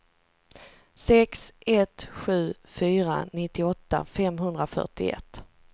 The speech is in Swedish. sex ett sju fyra nittioåtta femhundrafyrtioett